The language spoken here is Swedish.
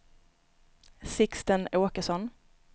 Sixten Åkesson